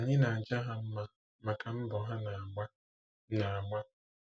Ànyị na-aja ha mma maka mbọ ha na-agba? na-agba?